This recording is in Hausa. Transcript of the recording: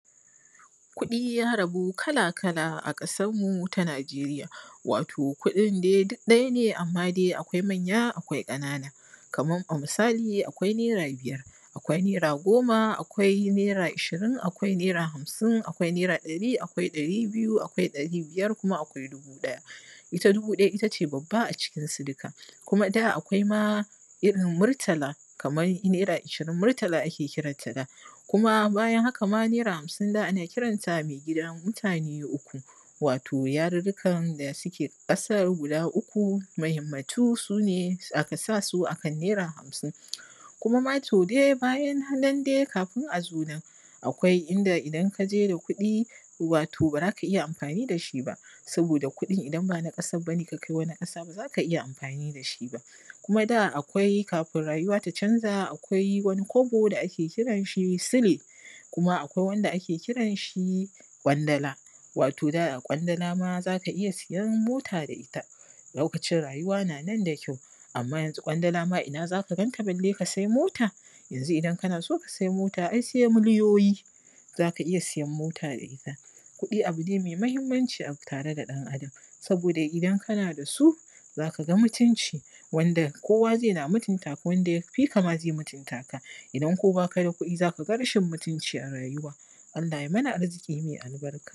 ku:ɗi: ja: rabu kala-kala a ƙa:sar mu ta Na:je:rija wa:to kudin dai duk ɗaja ne: amma: dai akwai manja: akwai ƙana:na: kaman a misa:li akwai naira bijar akwai naira go:ma akwai naira a:ʃi:rin akwai naira hamsin akwai naira ɗa:ri: akwai ɗa:ri: biju akwai ɗa:ri: bijar kuma akwai dubu ɗaja ita dubu ɗaja ita:ʧe babba: a ʧi:kinsu duka kuma da akwai ma irin murta:la: kaman naira a:ʃi:rin murta:la: ake kiranta da kuma ba:jan haka ma: naira hamsin da ana kiranta mai gida: mu:ta:ne: uku wa:to jarurrukan da suke ƙa:sar guda: uku mahinmatu sune aka sa su akan naira hamsin kuma ma to dai bajan nan dai ka:fin a zo nan akwai inda idan kaʤe da kuɗi: wa:to ba za ka ija amfa:ni da ʃi: ba sabo:da ku:ɗin idan ba na ƙasan bane ka kai waani ƙasan ba:za: ka ija amfa:ni: da ʃi ba kuma da akwai ka:fin ra:ju:wa: ta ʧanʤa akwai wani kwabo da ake kiran ʃi sile kuma akwai wanda ake ki:ranʃi ƙwanda:la wa:to: da: ƙwandala ma da za:ka ija sijan mo:ta da ita lo:kaʧin rajuwa na nan da kyau amma janzu ƙwanda:la ma ina za: ka ganta bale: ka sai mo:ta janzu idan kana so ka sai mo:ta ai sai milijo:ji za: ka ija sijan mo:ta da ita ku:ɗi: abune mai ma:himmanʧi a tare da ɗan Adam sa:bo:da idan kana da su: za: ka ga mutunʧi wanda ko:wa zai na mutunta:ka wanda ja: fi: ka ma zai mutunta:ka idan ba kuma ba ka da ku:ɗi: za: ka ga raʃin mutunci a ra:ju:wa Allah jsai mana arzi:ki mai albarka